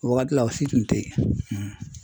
O wagati la o si tun tɛ ye